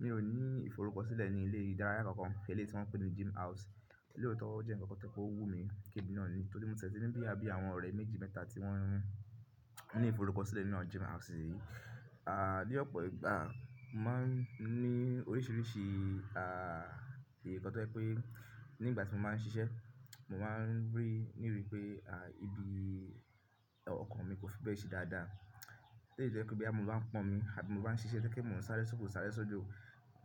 Mi ò ní ìforúkọ̀sílẹ̀ ní ilé ìdárayá kan, eléyìí tí wọ́n pè ní Gym House. Lootó o jẹ́ ǹkankan to je pe o wù mí ki emi náà ni, torí mo tele ń bí i bí àwọn ọ̀rẹ́ méjì mẹ́ta tí wọ́n ní ìforúkọ̀sílẹ̀ nínú Gym House yìí. Ni ọ̀pọ̀ ìgbà, mo máa ń ní oríṣiríṣi, èyí kọ́ tó pé nígbà tí mo máa ń ṣiṣẹ́, mo máa ń rí níbi pé, ibi ọkàn mi kò fi bẹ́ẹ̀ ṣe dáadáa. Eléyìí jẹ́ pé boya mo bá ń pọ́n omi àbí mo bá ń ṣiṣẹ́ tojepe mọ̀ ń sáré sókè sáré sódo,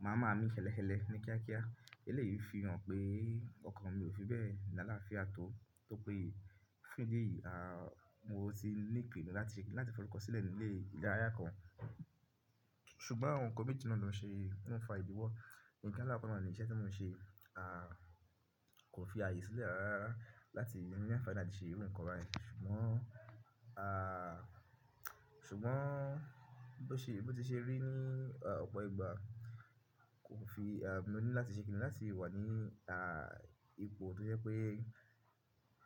màá máa mí ń kekekele ní kíákíá. Eléyìí fi hàn pé ọkàn mi ò fi bẹ́ẹ̀ ní àlàáfíà tó, tó pé fún ìdí èyí. Mo ti ní ìpinnu láti, láti forúkọ̀sílẹ̀ ní ilé ìdárayá kan. Ṣùgbọ́n àwọn nǹkan méjì náà lọ ṣe, ló ń fa ìdíwọ́. Ǹkan alakoko náà ni iṣẹ́ tí mò ń ṣe, kò fi ààyè sílẹ̀ rárá láti ní àǹfààní láti ṣe irú ǹkan báyìí. Ṣùgbọ́n, ṣùgbọ́n bó ti ṣe rí ní, à, ọ̀pọ̀ ìgbà, kò fi, mo ní láti ṣe kíni láti wà ní, à ipò tó jẹ́ pé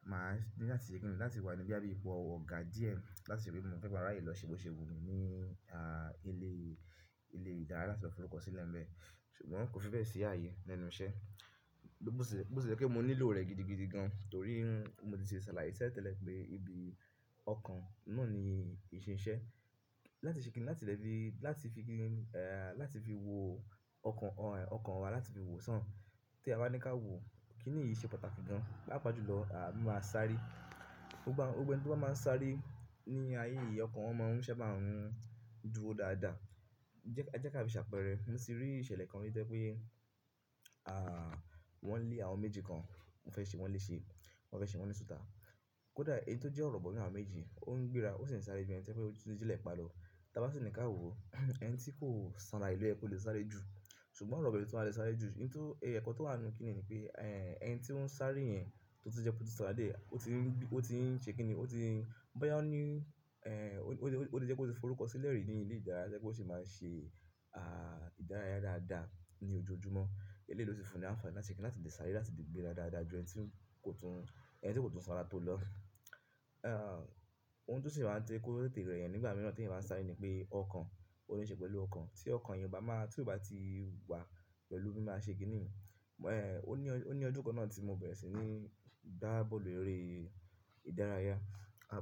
màá ní láti ṣe kíni láti wà ní boya bí ipò ọ̀gá díẹ̀ láti ríi bí mo fi ń ma raye lọ ṣe bó ṣe wù mí ní ilé, ilé ìdárayá láti fi forúkọ̀sílẹ̀ ń bẹ. Ṣùgbọ́n kò fi bẹ́ẹ̀ ṣe ààyè lẹ́nu iṣẹ́. Bóò sì jẹ́ pé mo nílò rẹ̀ gidigidi gan-an torí mo ti ṣẹ̀ alaye tele tẹ́lẹ̀ pé ibi ọkàn náà ni ìṣin iṣẹ́. Látì ṣe kíni láti lè fi, láti fi kíni, láti fi wo ọkàn wa, ọkàn wa láti fi wo sàn. Tí a bá ní ká wo, kí ni èyí ṣe pàtàkì gan-an? Pápa jùlọ, mi máa sáré. Gbogbo ẹni to bá máa ń sáré ní ayé yìí, ọkàn wọn máa ń ṣé bá n dúró dáadáa. E. Jẹ́ ká fi ṣàpẹ́rẹ́. Mo ti rí ìṣẹ̀lẹ̀ kan rí tojepé, wọ́n lé àwọn méjì kan, wọ́n fẹ́ ṣe wọ́n lé ṣe, wọ́n fẹ́ ṣe wọ́n ni suta. Kódà ẹyi tó jẹ́ ọ̀rọ̀bọ̀ nínú àwọn méjì, ó ń gbéra, ó sì ń sáré ju ẹni toje pe o tun je lepa lo. Tí a bá sì ní ká wo, ẹni tí kò sanra yi lo yẹ kò lè sáré jù. Ṣùgbọ́n ọ̀rọ̀bọ̀ lo tun wa lè sáré jù. In to eko towa nínú kini nipe ẹni to n saare to je pe o tun sanra díẹ̀ o tin se kini o tin. Bóyá ó ní, ó lè jẹ́ pe o ti forúkọ̀sílẹ̀ rí ní ilé ìdárayá tojepe o si máa ṣe, à, ìdárayá dáadáa ní ojoojúmọ́. Eléyìí ló si fún ní àǹfààní láti sekini láti ṣare láti le gbéra dáadáa ju ẹni tí kò tún, ẹni tí kò tún sanra tó lọ. Ohun tó sì máa ń je kó tètè rẹ́yẹn nígbà mìíràn tí ẹ̀yin bá ń sáré ni pé ọkàn, ó níṣe pẹ̀lú ọkàn. Tí ọkàn yẹn bá máa, tí kò bá ti wà pẹ̀lú bí màá ṣe kíni, ó ní ọdún kan náà tí mo bẹ̀rẹ̀ sí ní gbá bọ́ọ̀lù eré ìdárayá,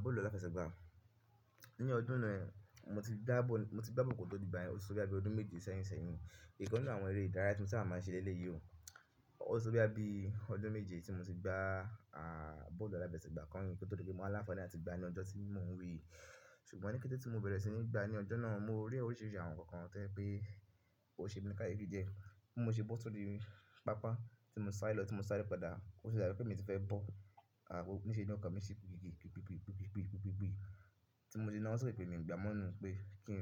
bọ́ọ̀lù aláfẹsẹ̀gbá. Ní ọdún náà, mo ti gbá bọ́ọ̀lù kò tó di ìgbà yẹn, ó ti tó bí ọdún méje sẹ́yìn sẹ́yìn. Ìkàn nínú àwọn eré ìdárayá tí mò ń ti sábà màá n ṣe lẹ́lẹ̀ yí ò. Ó ti tó boya bi ọdún méje tí mo ti gbá, bọ́ọ̀lù aláfẹsẹ̀gbá kanyìí kò tó di pé mowa láǹfààní láti gbá ní ọjọ́ tí mò ń wí yìí. Ṣùgbọ́n ní kété tí mo bẹ̀rẹ̀ sí ní gbá ní ọjọ́ náà, mo rí oríṣiríṣi àwọn ǹkan kan tẹ́ pé ó ṣe mí ní kayefi díẹ̀. Mo ṣe bọ́ tó ri pápá tí mo sáré lọ, tí mo sá re padà. Ó sì dábi pé emi ti fẹ́ bọ́, ó ń ṣe ni ọkàn mi ṣe pipipi pipipi pipipi. Tí mo se na owo sókè pe mi ń gbá mọ́ nú pé kí n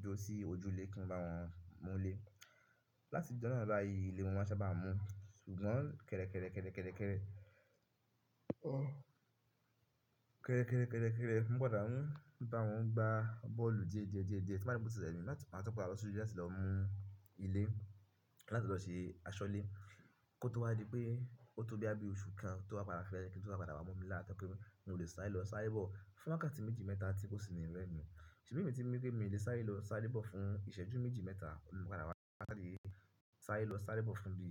dúró si ojú ilé kí n bá wọn mú lé. Láti ọjọ́ náà bá yí, ilé mo máa ń ṣa bá mú. Ṣùgbọ́n kẹ̀rẹ̀kẹ̀rẹ̀ kẹ̀rẹ̀kẹ̀rẹ̀ kẹ̀rẹ̀kẹ̀rẹ̀, kẹ̀rẹ̀kẹ̀rẹ̀ kẹ̀rẹ̀kẹ̀rẹ̀ kẹ̀rẹ̀kẹ̀rẹ̀, mo padà mo padà bawọn gba bọ́ọ̀lù díẹ̀ díẹ̀ díẹ̀ díẹ̀. Ti n bati ri wípé oti remi mi láti màá tun padà lọ sójú láti lọ mú ilé láti lọ ṣe aṣọ́lé. Kó tó wá di pé ó tó boya bi oṣù kan tówa bá padà kéré kí n tó padà wá mo mi lá tojepé mo lè sáré lọ sáré bọ̀ fún wákàtí méjì mẹ́ta tí kò sì ní remi. Ṣìbí mi ti ń wí pé mi ò lè sáré lọ sáré bọ̀ fún ìṣẹ́jú méjì mẹ́ta, mo padà wá wákàtí yìí sáré lọ sáré bọ̀ fún bí,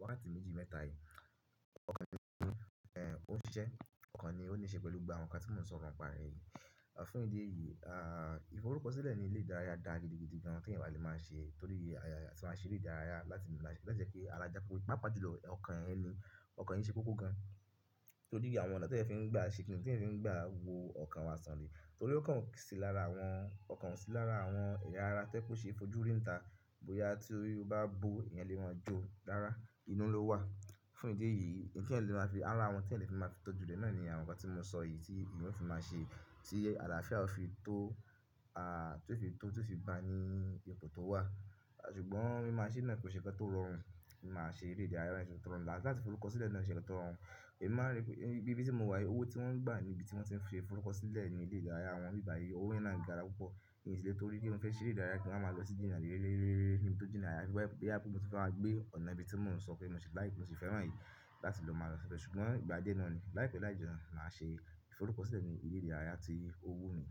wákàtí méjì mẹ́ta yìí. Ọkàn ni, ó ń ṣiṣẹ́, ọkàn ni ó níṣe pẹ̀lú gba àwọn ǹkan tí mò ń sọ̀rọ̀ nípa re yìí. Fún ìdí èyí, ìforúkọ̀sílẹ̀ ní ilé ìdárayá da gidigidi gan-an tí ẹ̀yin máa lè máa ṣe torí ayé tí wọ́n ṣe eré ìdárayá láti láti jẹ́ pé arajapepe. Pápa jùlọ ọkàn ẹni, ọkàn ẹni ṣe kókó gan-an torí àwọn ọ̀nà tí ẹyan fi n gbà ṣe kíni, tí ẹ fi ń gbà wo ọkàn wa sàn le. Torí ọkàn sì lára àwọn, ọkàn sì lára àwọn ẹ̀yà ara tojepe ó ṣe é fojú rí ńta bóyá tí ó bá bo ìyànlẹ́wọ̀n jó rara, inú ló wà. Fún ìdí èyí, ǹ ti ẹyan lè máa fi ara àwọn tí ẹni lè fi máa fi tọ́jú re náà ni àwọn ǹkan tí mò ń sọ yìí tí eyan ó fi máa ṣe, tí àlàáfíà ó fi tó, tó fi tó, tó fi ba ní ipò tó wà. Ṣùgbọ́n mi máa ṣe náà kò ṣe nkan tó rọrùn. Mo máa ṣe eré ìdárayá níṣe tó rọrùn. Láti forúkọ̀sílẹ̀ náà ṣe iṣẹ́ tó rọrùn. Èmi máa rí pé ibi tí mo wà yìí, owó tí wọ́n ń gbà ní ibi tí wọ́n ti ń ṣe forúkọ̀sílẹ̀ ní ilé ìdárayá wọn ni ibi báyìí, owó yen ńa gára púpọ̀. Èyí sì le torí pé mo fẹ́ ṣe eré ìdárayá kí n máa lọ sí jina rere rere níbi tó jiina ayafi boya pe mo tun fe ma gbé ọ̀nà ibi tí mò ń sọ pé mo ṣe like, mo ṣe fẹ́ràn yìí láti lọ máa lọ ṣẹ̀ṣẹ̀. Ṣùgbọ́n ìgbà díẹ̀ náà ni láìpẹ́ láìjọ náà ṣe forúkọ̀sílẹ̀ ní ilé ìdárayá tí owó mi.